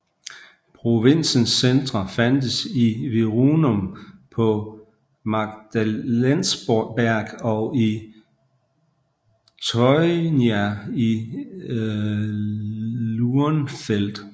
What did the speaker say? Provinsens centre fandtes i Virunum på Magdalensberg og i Teurnia i Lurnfeld